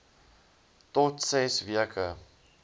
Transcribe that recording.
tot ses weke